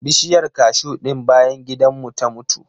Bishiyar kashu ɗin bayan gidan mu ta mutu.